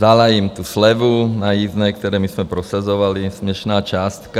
Vzala jim tu slevu na jízdné, které my jsme prosazovali, směšná částka.